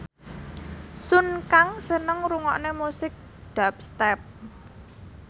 Sun Kang seneng ngrungokne musik dubstep